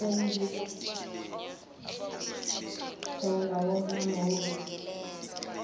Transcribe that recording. sezingcingo wonke amahhovisi